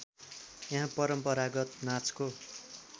यहाँ परम्परागत नाचको